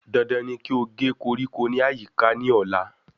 Dandan ní kí o gé koríko ní àyíká ní ọ̀la